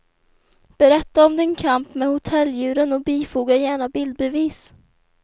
Berätta om din kamp med hotelldjuren och bifoga gärna bildbevis.